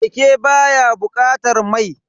Keke baya bukatar mai.